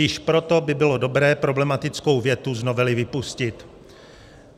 Již proto by bylo dobré problematickou větu z novely vypustit.